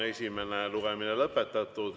Esimene lugemine on lõpetatud.